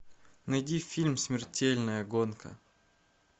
найди фильм смертельная гонка